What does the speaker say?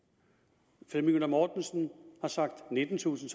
t møller mortensen har sagt nittentusind